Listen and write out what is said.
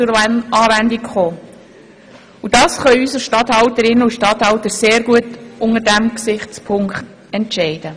Das können unsere Regierungsstatthalterinnen und Regierungsstatthalter unter diesem Gesichtspunkt sehr gut entscheiden.